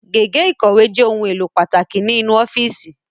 Gègé ikọ̀wé jẹ ohun èlò pàtàkì ni inu ọ́fíìsì